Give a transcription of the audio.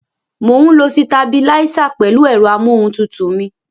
Mò ń lo sitabiláísà pẹ̀lú ẹ̀rọ amóhun tutù mi.